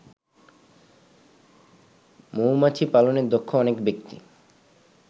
মৌমাছিপালনে দক্ষ অনেক ব্যক্তি